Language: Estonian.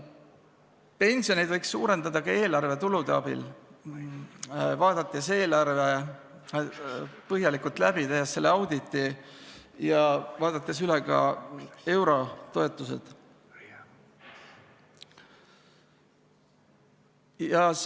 Pensioneid võiks suurendada ka eelarvetulude abil, vaadates eelarve põhjalikult läbi, tehes selle auditi ja vaadates üle ka eurotoetused.